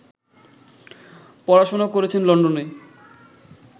পড়াশোনা করেছেন লন্ডনে